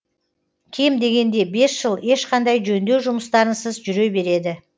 кем дегенде бес жыл ешқандай жөндеу жұмыстарынсыз жүре береді